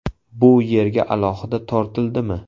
Bu yerga alohida tortildimi?